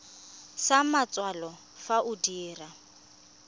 sa matsalo fa o dira